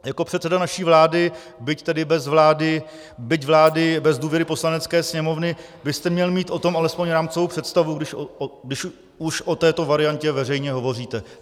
Jako předseda naší vlády, byť tedy bez vlády, byť vlády bez důvěry Poslanecké sněmovny, byste měl mít o tom alespoň rámcovou představu, když už o této variantě veřejně hovoříte.